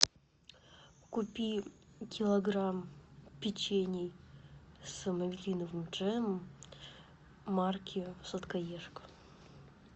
купи килограмм печений с малиновым джемом марки сладкоежка